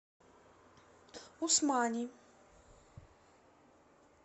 усмани